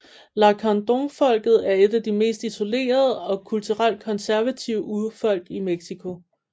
Lacandónfolket er et af de mest isolerede og kulturelt konservative urfolk i Mexico